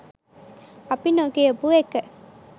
අපි නොකියපු එක.